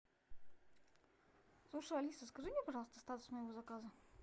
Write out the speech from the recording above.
слушай алиса скажи мне пожалуйста статус моего заказа